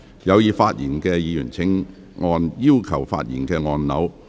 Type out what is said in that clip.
有意發言的議員請按"要求發言"按鈕。